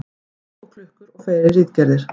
Ský og klukkur og fleiri ritgerðir.